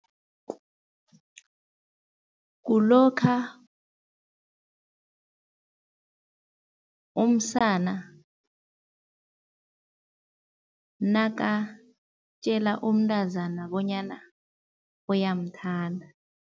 Kulokha umsana nakatjela umntazana bonyana uyamthanda.